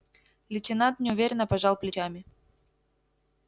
лейтенант неуверенно пожал плечами